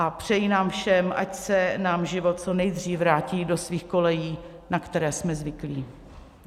A přeji nám všem, ať se nám život co nejdřív vrátí do svých kolejí, na které jsme zvyklí.